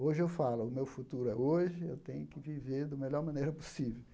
Hoje eu falo, o meu futuro é hoje, eu tenho que viver do melhor maneira possível.